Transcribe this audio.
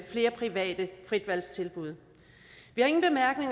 flere private fritvalgstilbud